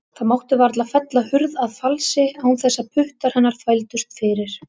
Það mátti varla fella hurð að falsi án þess að puttar hennar þvældust fyrir.